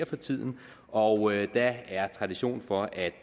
for tiden og der er tradition for at